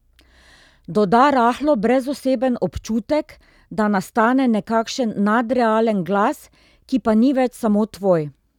Doda rahlo brezoseben občutek, da nastane nekakšen nadrealen glas, ki pa ni več samo tvoj.